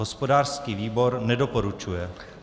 Hospodářský výbor nedoporučuje.